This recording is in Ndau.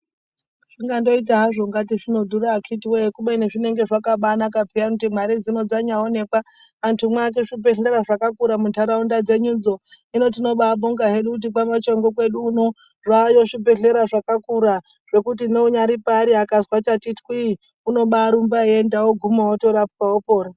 Zvinoita kunge zvinodhura akhiti wee kubeni zvinenge zvakabanaka kuti mare dzino dzambooneka dziake zvibhehlera zvakakura munharaunda dzedu dzo hino tinobonga kuti kwamajongwe kwedu uno zvayo zvibhehlera zvakakura zvekuti neunyari paari ukazwa pati twii unobarumba oguma otorapwa opona.